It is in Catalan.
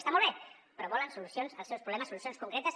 està molt bé però volen solucions als seus problemes solucions concretes